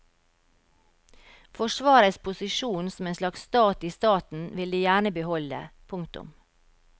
Forsvarets posisjon som en slags stat i staten vil de gjerne beholde. punktum